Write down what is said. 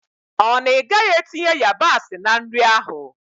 Ọ na ị gaghị etinye yabasị na nri ahụ?